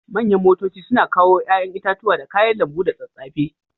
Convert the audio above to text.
Manyan motoci suna kawo yayan itatuwa da kayan lambu da tsatsafe.